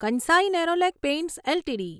Kansai Nerolac paints LTD